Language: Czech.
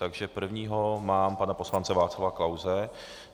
Takže prvního mám pana poslance Václava Klause.